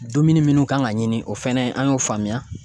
Dumuni minnu kan ka ɲini, o fɛnɛ an y'o faamuya.